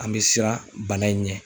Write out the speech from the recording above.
An be siran bana in ɲɛ